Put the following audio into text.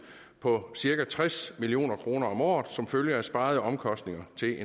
på cirka tres million kroner om året som følge af sparede omkostninger til